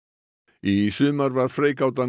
í sumar var freigátan